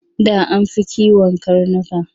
Da an fi kiwon karnuka.